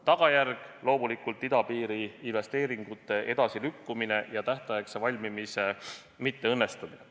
Tagajärg on loomulikult idapiiri investeeringute edasilükkumine ja tähtaegse valmimise ebaõnnestumine.